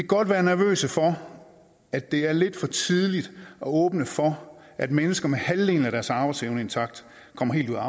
godt være nervøse for at det er lidt for tidligt at åbne for at mennesker med halvdelen af deres arbejdsevne intakt kommer helt ud af